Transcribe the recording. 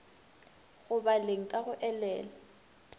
go baleng ka go elela